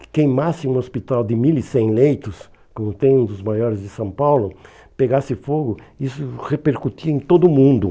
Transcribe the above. que queimasse um hospital de mill e cem leitos, como tem um dos maiores de São Paulo, pegasse fogo, isso repercutia em todo mundo.